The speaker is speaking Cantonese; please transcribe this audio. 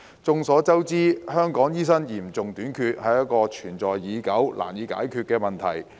眾所周知，香港醫生嚴重短缺，是一個存在已久及難以解決的問題。